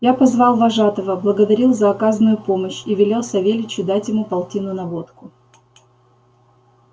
я позвал вожатого благодарил за оказанную помочь и велел савельичу дать ему полтину на водку